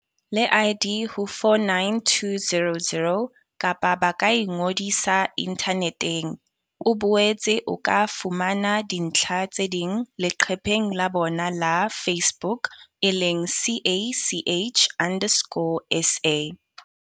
le ID ho 49200, kapa ba ka ingodisa inthaneteng. O boetse o ka fumana dintlha tse ding leqepheng la bona la Facebook e leng CACH underscore SA.